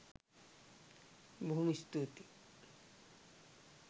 බොහෝම ස්තූතියි